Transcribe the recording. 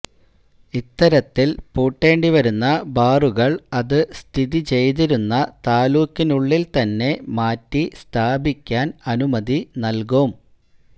ഇത്തരത്തിൽ പൂട്ടെണ്ടിവരുന്ന ബാറുകൾ അതു സ്ഥിതി ചെയ്തിരുന്ന താലൂക്കിനുള്ളിൽത്തന്നെ മാറ്റി സ്ഥാപിക്കാൻ അനുമതി നൽകും